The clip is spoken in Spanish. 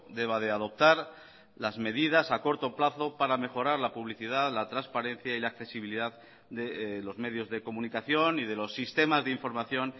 deba de adoptar las medidas a corto plazo para mejorar la publicidad la transparencia y la accesibilidad de los medios de comunicación y de los sistemas de información